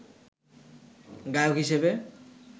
গায়ক হিসেবে